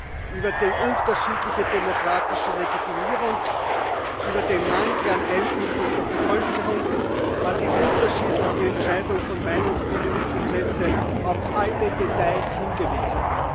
auf die unterschiedliche demokratische Legitimierung, auf den Mangel an Einbindung der Bevölkerung, auf die unterschiedlichen Entscheidungs und Meinungsbildungsprozesse, auf alle Details hingewiesen.